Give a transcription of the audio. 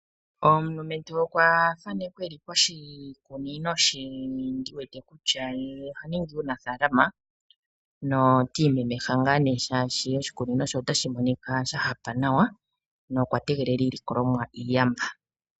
Omulumentu okwa thanekwa e li poshikunino she, ndi wete kutya ye oha ningi uunafaalama. Oti imemeha ngaa nee, shaashi oshikunino she otashi monika shoopala nawa nokwa tegelela iilikolomwa iiyamba.